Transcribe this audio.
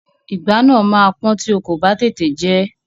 Ìgbá náà máa pọ́n tí o kò bá tètè jẹ ẹ́.